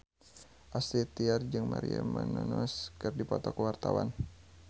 Astrid Tiar jeung Maria Menounos keur dipoto ku wartawan